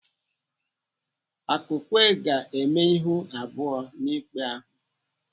Akukwe ga-eme ihu abụọ n'ikpe ahụ.